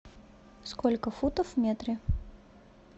сколько футов в метре